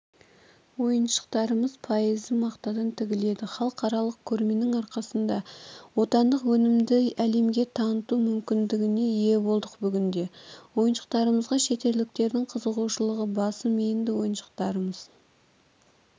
халықаралық көрмесі басталғаннан бері астана қаласында кәдесыйлар саудасы қыза түсті қазіргі таңда қаланың бірнеше ауданында осындай мобильді сауда дүңгіршектері ашылған алдағы